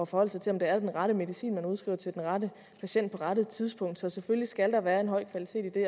forholde sig til om det er den rette medicin man udskriver til den rette patient på rette tidspunkt så selvfølgelig skal der være en høj kvalitet i det